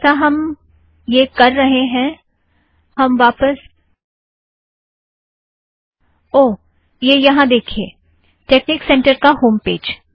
जैसे हम यह कर रहें हैं हम वापस - ओह - यह यहाँ देखिए टेकनिक सेंटर का होम पेज